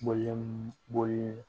Bɔlen